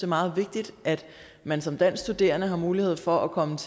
meget vigtigt at man som dansk studerende har mulighed for at komme